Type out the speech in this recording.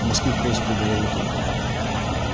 в москву поезд прибывал утром